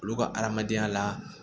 Olu ka adamadenya la